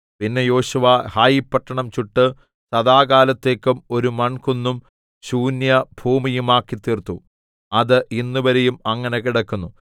പിന്നെ യോശുവ ഹായിപട്ടണം ചുട്ട് സദാകാലത്തേക്കും ഒരു മൺകുന്നും ശൂന്യഭൂമിയുമാക്കിത്തീർത്തു അത് ഇന്നുവരെയും അങ്ങനെ കിടക്കുന്നു